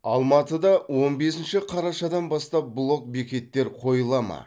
алматыда он бесінші қарашадан бастап блок бекеттер қойыла ма